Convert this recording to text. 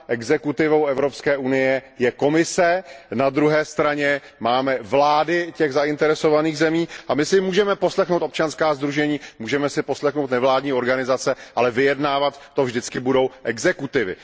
Exekutivou Evropské unie je Komise, na druhé straně máme vlády těch zainteresovaných zemí a my si můžeme poslechnout občanská sdružení, můžeme si poslechnout nevládní organizace, ale vyjednávat to vždycky budou exekutivy.